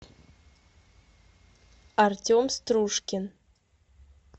артем стружкин